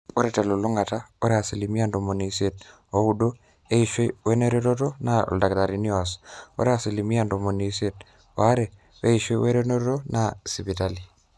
ore telulung'ata ore asilimia ntomoni isiet ooudo eishoi wenerruoroto naa oldakitari oas, ore asilimia ntomoni isiet oare eishoi wenerruoroto naa inesipitali